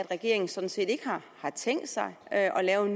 regeringen sådan set ikke har tænkt sig at lave